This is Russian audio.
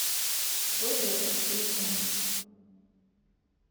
твой доктор телефон